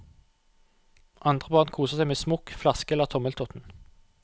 Andre barn koser seg med smokk, flaske eller tommeltotten.